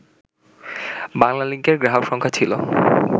বাংলালিংকের গ্রাহক সংখ্যা ছিল